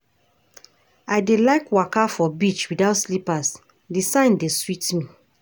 I dey like waka for beach witout slippers, di sand dey sweet me.